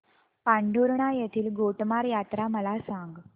पांढुर्णा येथील गोटमार यात्रा मला सांग